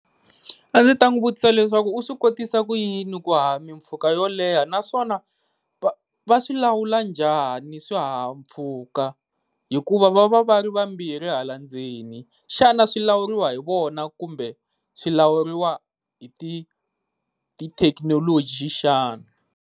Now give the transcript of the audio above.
A ndzi ta n'wi vutisa leswaku u swi kotisa ku yini ku haha mpfhuka yo leha, naswona va swilawula njhani swi xihahampfhuka hikuva va va va ri vambirhi hala ndzeni? Xana swilawuriwa hi vona kumbe swi lawuriwaka hi ti hi ti thekinoloji xana?